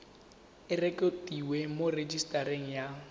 e rekotiwe mo rejisetareng ya